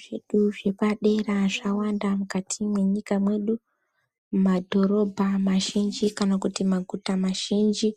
Zvedu zvepadera zvawanda mukati mwenyika mwedu mumadhorobha mazhinji kana kuti maguta mazhinji